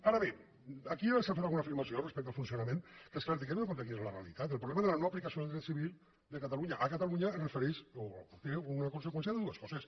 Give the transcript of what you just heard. ara bé aquí s’ha fet alguna afirmació respecte al funcionament que és certa tenint en compte quina és la realitat el problema de la no aplicació del dret civil de catalunya a catalunya es refereix o té una conseqüència de dues coses